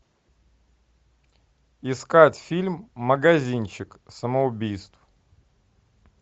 искать фильм магазинчик самоубийств